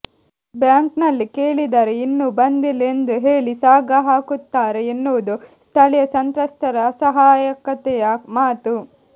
ಬ್ಯಾಂಕ್ನಲ್ಲಿ ಕೇಳಿದರೆ ಇನ್ನೂ ಬಂದಿಲ್ಲ ಎಂದು ಹೇಳಿ ಸಾಗಹಾಕುತ್ತಾರೆ ಎನ್ನುವುದು ಸ್ಥಳೀಯ ಸಂತ್ರಸ್ತರ ಅಸಹಾಯಕತೆಯ ಮಾತು